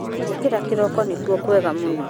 Gũũkĩra kĩroko nĩkuo kwega mũno